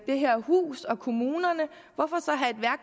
det her hus og kommunerne hvorfor